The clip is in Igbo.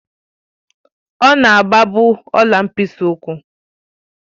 Ọ̀ na-agba bụ ọ̀la mkpịsị ụkwụ